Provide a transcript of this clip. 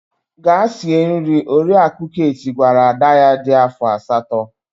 Gaa sie nri! Oriakụ Kate gwara ada ya dị afọ asatọ.